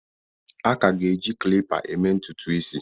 A ka ga-eji klipa eme ntutu isi.